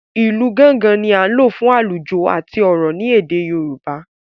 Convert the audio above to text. ilú Gángan ní a lò fún alujo àti òrò ní èdè yorùbá